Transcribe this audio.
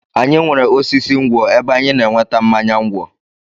Anyị nwere osisi ngwọ̀ ebe anyị na-enweta mmanya ngwọ̀.